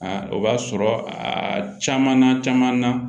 o b'a sɔrɔ a caman na caman na